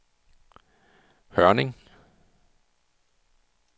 Hørning